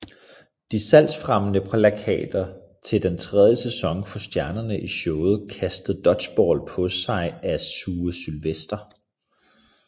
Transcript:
De salgsfremmende plakater til den tredje sæson får stjernerne i showet kastet dodgeballs på sig af Sue Sylvester